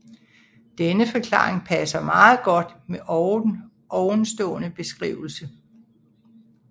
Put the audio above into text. Denne forklaring passer meget godt med ovenstående beskrivelse